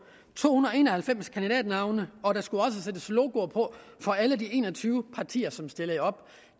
to hundrede og en og halvfems kandidater og der skulle også sættes logoer på for alle de en og tyve partier som stillede op